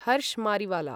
Harsh Mariwala